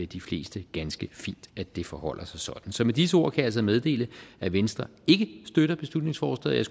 de fleste ganske fint at det forholder sig sådan så med disse ord kan jeg altså meddele at venstre ikke støtter beslutningsforslaget